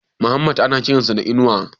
Muhammad ana kiran sa da Inuwa?